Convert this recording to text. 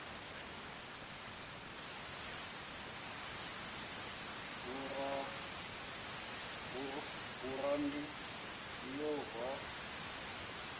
burandi ya v o a